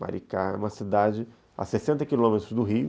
Maricá é uma cidade a sessenta quilômetros do Rio.